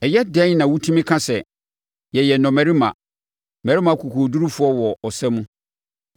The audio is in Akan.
“Ɛyɛ dɛn na wotumi ka sɛ, ‘Yɛyɛ nnɔmmarima, mmarima akokoɔdurufoɔ wɔ ɔsa mu’?